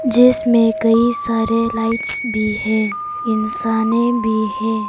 जिसमें कई सारे लाइट्स भी हैं इंसाने भी हैं।